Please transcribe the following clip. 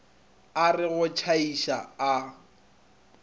a re go tšhaiša a